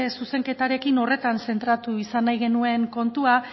zuzenketarekin horretan zentratu izan nahi genuen kontua